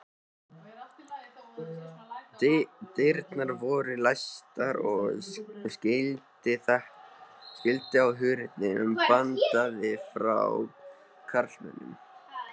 Dyrnar voru læstar og skilti á hurðinni bandaði frá karlmönnum.